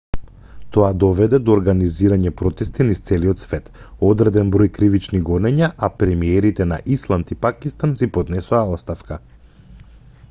тоа доведе до организирање протести низ целиот свет одреден број кривични гонења а премиерите на исланд и пакистан си поднесоа оставка